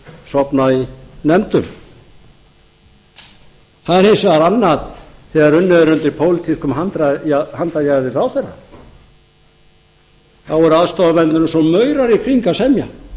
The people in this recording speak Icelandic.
sofna í nefndum það er hins vegar annað þegar unnið er undir pólitískum handarjaðri ráðherra þá eru aðstoðarmennirnir eins og maurar í kring að semja fyrir utan